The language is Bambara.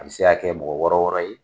A bi se ka kɛ mɔgɔ wɔɔrɔ wɔɔrɔ ye.